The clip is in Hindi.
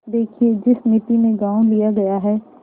देखिए जिस मिती में गॉँव लिया गया है